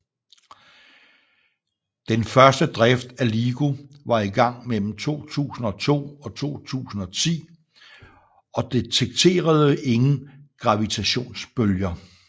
Den første drift af LIGO var i gang mellem 2002 og 2010 og detekterede ingen gravitationsbølger